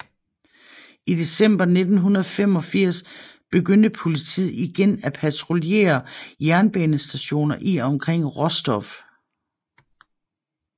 I december 1985 begyndte politiet igen at patruljere jernbanestationer i og omkring Rostov